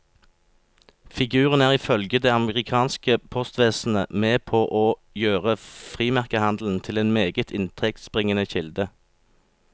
Figuren er ifølge det amerikanske postvesenet med på å gjøre frimerkehandelen til en meget inntektsbringende kilde.